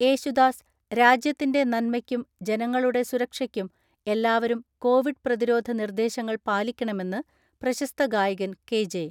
യേശുദാസ് രാജ്യത്തിന്റെ നന്മയ്ക്കും ജനങ്ങളുടെ സുരക്ഷയ്ക്കും എല്ലാവരും കോവിഡ് പ്രതിരോധ നിർദ്ദേശങ്ങൾ പാലിക്കണമെന്ന് പ്രശസ്ത ഗായകൻ കെ.ജെ.